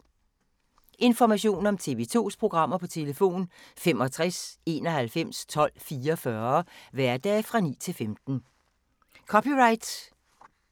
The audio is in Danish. Information om TV 2's programmer: 65 91 12 44, hverdage 9-15.